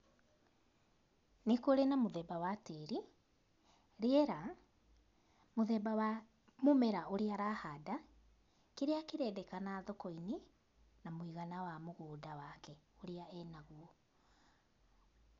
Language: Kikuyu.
Nῖ kῦrῖ na mῦthemba wa tῖri, rῖera, mῦthemba wa mῦmera ῦrῖa arahanda, kῖrῖa kῖrendekana thoko-inῖ na mῦigana wa mῦgῦnda wake ῦria e naguo.